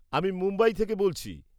আমি মুম্বাই থেকে বলছি।